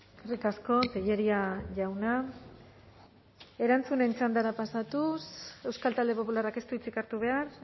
eskerrik asko tellería jauna erantzunen txandara pasatuz euskal talde popularrak ez du hitzik hartu behar